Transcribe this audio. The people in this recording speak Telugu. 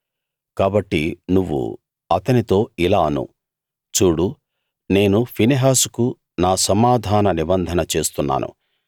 కాబట్టి నువ్వు అతనితో ఇలా అను చూడు నేను ఫినెహాసుకు నా సమాధాన నిబంధన చేస్తున్నాను